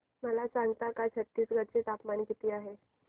मला सांगता का छत्तीसगढ चे तापमान किती आहे